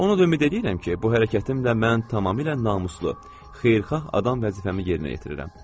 Onu da ümid eləyirəm ki, bu hərəkətimlə mən tamamilə namuslu, xeyirxah adam vəzifəmi yerinə yetirirəm.